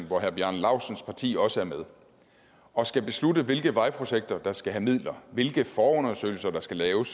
hvor herre bjarne laustsens parti også er med og skal beslutte hvilke vejprojekter der skal have midler hvilke forundersøgelser der skal laves